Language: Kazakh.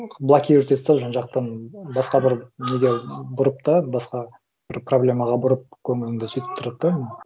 блокировать етіп тастап жан жақтан басқа бір неге бұрып та басқа бір проблемаға бұрып көңіліңді сөйтіп тұрады да